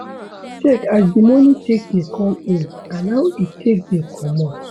Check as di money take dey come in and how e take dey comot